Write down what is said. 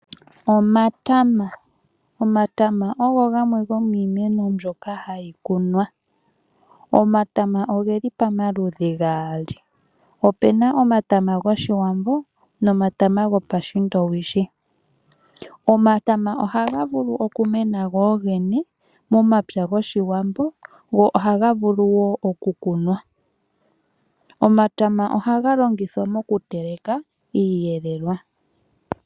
Omatama, omatama ogo gamwe gomiimeno mbyoka hayi kunwa. omatama ogeli pamaludhi gaali. Opuna omatama gOshiwambo nomatama gopashindowishi. Omatama oha gavulu okumena gogene momapya gOshiwambo, go ohaga vulu wo okukunwa. Omatama ohaga longithwa mokuteleka iiyelelwa.